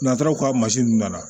N'a taara u ka mansin nunnu nana